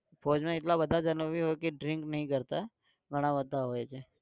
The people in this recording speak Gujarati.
ફૌજમાં એટલા બધા જણા भी હોય કે drink નઇ કરતાં. ઘણા બધા હોય છે.